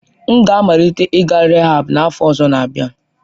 M ga-amalite ịga rịhaab n'afọ ọzọ n'abia.